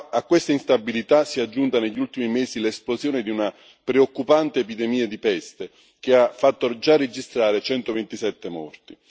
A questa instabilità si è aggiunta negli ultimi mesi l'esplosione di una preoccupante epidemia di peste che ha fatto già registrare 127 morti.